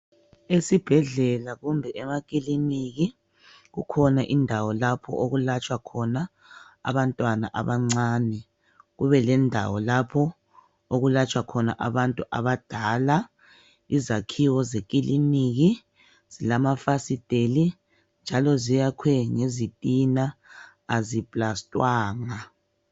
Esibhedlela kumbe emaclinikhi kulendawo lapho okulwatshwa khona abantwana abancane kube lendawo lapho okuyelatshwa khona abantu abadala izakhiwo zekiliniki kulamafasteli njalo zakhiwe ngezitina aziplastwanga